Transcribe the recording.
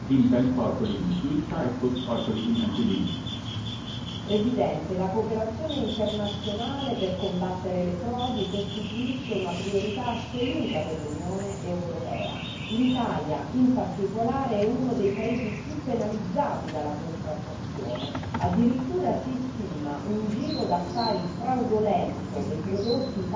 Signor Presidente, onorevoli colleghi, la cooperazione internazionale per combattere le frodi costituisce una priorità assoluta per l'Unione europea. L'Italia, in particolare, è uno dei paesi più penalizzati dalla contraffazione addirittura si stima un giro d'affari fraudolento dei prodotti